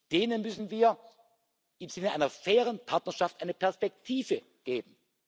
Denen müssen wir im Sinne einer fairen Partnerschaft eine Perspektive geben.